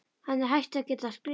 Hann er hættur að geta skrifað